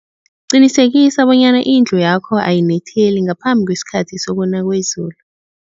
Qinisekisa bonyana indlu yakho ayinetheli ngaphambi kwesikhathi sokuna kwezulu.